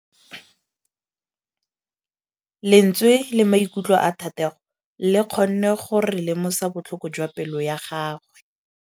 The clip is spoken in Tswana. Lentswe la maikutlo a Thategô le kgonne gore re lemosa botlhoko jwa pelô ya gagwe.